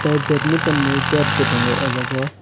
tei bedminton ni bat bo tango o jaga o.